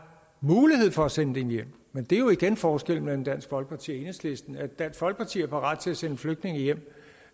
mulighed for at sende dem hjem men det er jo igen forskellen mellem dansk folkeparti og enhedslisten at dansk folkeparti er parate til at sende flygtninge hjem